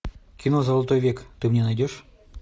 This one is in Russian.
кино золотой век ты мне найдешь